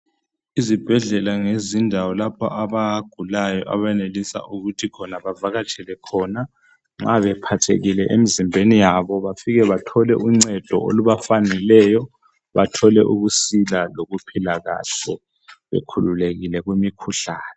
Izibhedlela ngezindawo lapho abagulayo abenelisa ukuthi khona bavakatshele khona nxa bephathekile emzimbeni yabo bafike bathole uncedo olubafaneleyo bathole ukusila lokuphila kahle bekhululekile kumikhuhlane.